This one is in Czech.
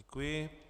Děkuji.